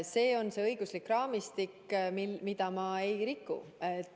See on see õiguslik raamistik, mida ma ei riku.